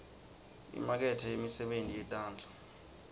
imakethe yemisebenti yetandla